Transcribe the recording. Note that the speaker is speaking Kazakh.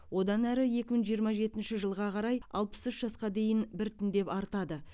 одан әрі екі мың жиырма жетінші жылға қарай алпыс үш жасқа дейін біртіндеп артады